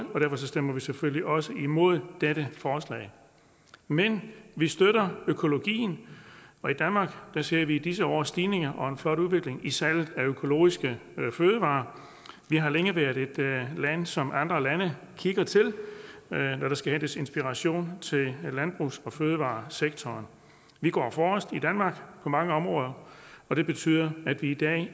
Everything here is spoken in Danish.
og derfor stemmer vi selvfølgelig også imod dette forslag men vi støtter økologien og i danmark ser vi i disse år en stigning og en flot udvikling i salget af økologiske fødevarer og vi har længe været et land som andre lande kigger til når der skal hentes inspiration til landbrugs og fødevaresektoren vi går forrest i danmark på mange områder og det betyder at vi i dag